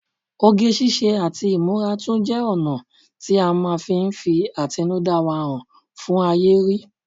Oge ṣíṣe àti ìmúra tún jẹ́ ọ̀nà tí à máa fi ń fi àtinúdá wa hàn fún ayé rí